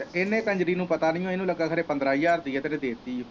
ਤੇ ਇੰਨੇ ਕੰਜਰੀ ਨੂੰ ਪਤਾ ਨੀ ਲੱਗਾ, ਖਰੇ ਪੰਦਰਾਂ ਹਜਾਰ ਦੀ ਦੇ ਤੀ ਆ।